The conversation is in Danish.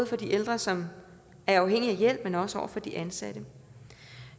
for de ældre som er afhængige af hjælp men også over for de ansatte